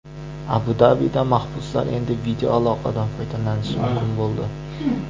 Abu-Dabida mahbuslar endi videoaloqadan foydalanishi mumkin bo‘ldi.